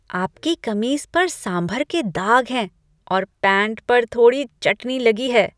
आपकी कमीज पर सांभर के दाग हैं और पैंट पर थोड़ी चटनी लगी है।